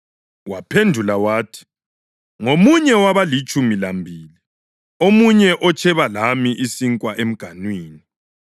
Waphendula wathi, “Ngomunye wabalitshumi lambili, omunye otsheba lami isinkwa emganwini.